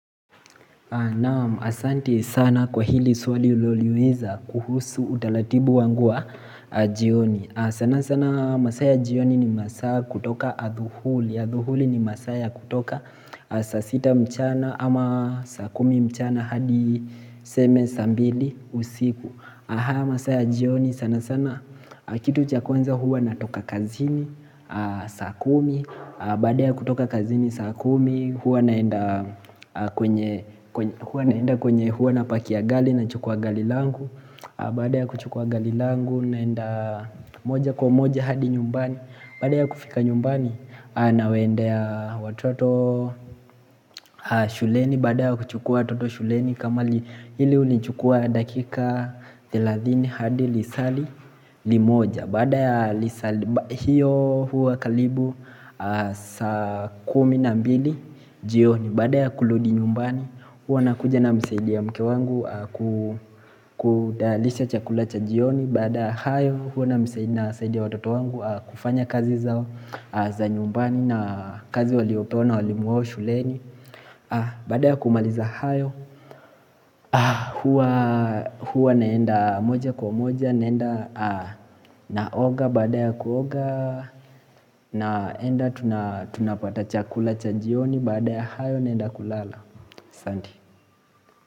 Naam asanti sana kwa hili swali uloliweza kuhusu utalatibu wangu wa jioni sana sana masaa ya jioni ni masaa ya kutoka adhuhuli Adhuhuli ni masaa ya kutoka saasita mchana ama saa kumi mchana hadi seme saambili usiku Aha masaya jioni sana sana kitu chakwanza huwa natoka kazini saakumi baada ya kutoka kazini saa kumi huwa naenda kwenye huwa na pakia gali na chukua galilangu baada ya kuchukua galilangu naenda moja kwa moja hadi nyumbani baada ya kufika nyumbani na wendea watoto shuleni baada ya kuchukua watoto shuleni kama hili uli chukua dakika 30 hadi lisali limoja Baada ya lisa hiyo huwa kalibu saa kumi na mbili jioni Baada ya kuludi nyumbani huwa nakuja na msaidia mke wangu kudalisha chakulacha jioni Baada ya hayo huwa na msaidi na saidia watoto wangu kufanya kazi zao za nyumbani na kazi waliopewa na walimu wao shuleni Bada ya kumaliza hayo huwa neenda moja kwa moja naenda naoga baada ya kuoga naenda tunapata chakula cha jioni baada ya hayo naenda kulala Sandi.